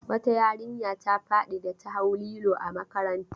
Wata yarinya ta faɗi da ta hau lilo. a makaranta